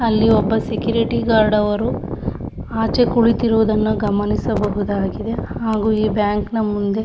ಅಲ್ಲಿ ಒಬ್ಬ security guard ಅವರು ಆಚೆ ಕುಳಿತಿರುವುದನ್ನು ಗಮನಿಸಬಹುದಾಗಿದೆ ಹಾಗು ಬ್ಯಾಂಕ್ ನ ಮುಂದೆ --